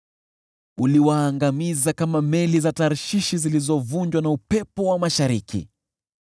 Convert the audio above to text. Uliwaangamiza kama meli za Tarshishi zilizovunjwa na upepo wa mashariki.